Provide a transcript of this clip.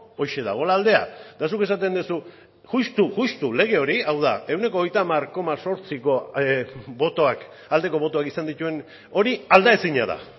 horixe dagoela aldea eta zuk esaten duzu justu justu lege hori hau da ehuneko hogeita hamar koma zortziko botoak aldeko botoak izan dituen hori aldaezina da